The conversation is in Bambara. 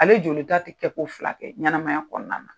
Ale jolita tɛ kɛ ko fila kɛ ɲɛnamaya kɔnɔna na.